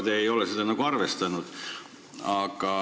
Te ei ole seda arvestanud.